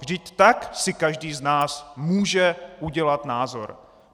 Vždyť tak si každý z nás může udělat názor.